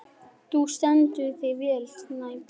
Þú stendur þig vel, Snæbjörn!